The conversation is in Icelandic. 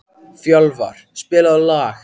Fjölvar, spilaðu lag.